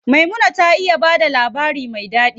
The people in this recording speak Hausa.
Maimuna ta iya bada labari me ɗaɗi.